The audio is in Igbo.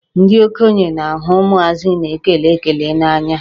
Ndị okenye na-ahụ ụmụazị na-ekele ekele n'anya.